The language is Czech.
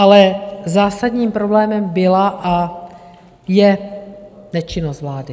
Ale zásadním problémem byla a je nečinnost vlády.